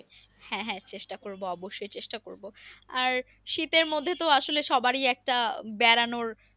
হ্যাঁ হ্যাঁ চেষ্টা করবো অবশ্যই চেষ্টা করবো আর শীতের মধ্যে তো আসলে সবার এ একটা বেড়ানোর